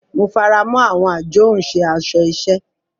Mo faramọ awọn ajohunše aṣọ iṣẹ.